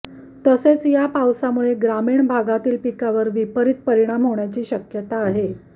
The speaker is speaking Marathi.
तसेच या पावसामुळे ग्रामीण भागातील पिकावर विपरीत परिणाम होण्याची शक्यता आहे